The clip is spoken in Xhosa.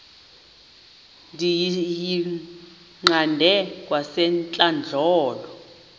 ndiyiqande kwasentlandlolo le